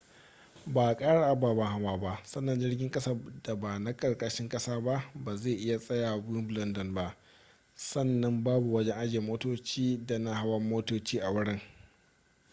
ba a kara ababen hawa ba sannan jirgin kasa da ba na karkashin kasa ba ba zai tsaya a wimbledon ba sannan babu wajen ajiye motoci da na hawan motoci a wurin